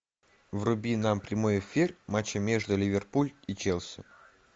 вруби нам прямой эфир матча между ливерпуль и челси